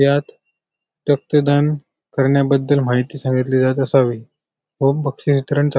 यात रक्त दान करण्याबद्दल माहिती सांगितली जात असावी व बक्षीस वितरण चा--